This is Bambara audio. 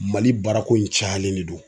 MALI baarako in cayalen de don.